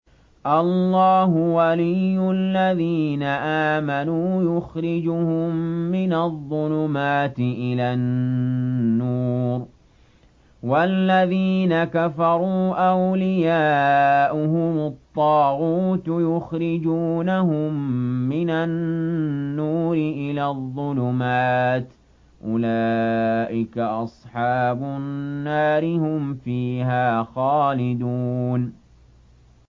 اللَّهُ وَلِيُّ الَّذِينَ آمَنُوا يُخْرِجُهُم مِّنَ الظُّلُمَاتِ إِلَى النُّورِ ۖ وَالَّذِينَ كَفَرُوا أَوْلِيَاؤُهُمُ الطَّاغُوتُ يُخْرِجُونَهُم مِّنَ النُّورِ إِلَى الظُّلُمَاتِ ۗ أُولَٰئِكَ أَصْحَابُ النَّارِ ۖ هُمْ فِيهَا خَالِدُونَ